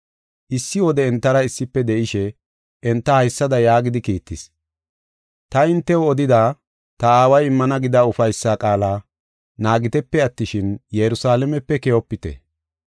Issi wode entara issife de7ishe enta haysada yaagidi kiittis: “Ta hintew odida, ta Aaway immana gida ufaysa qaala naagitepe attishin, Yerusalaamepe keyopite.